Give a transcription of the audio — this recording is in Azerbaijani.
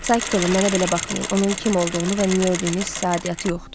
Sakit olun, mənə belə baxmayın, onun kim olduğunu və niyə ödüyünüz sizə aidiyyatı yoxdur.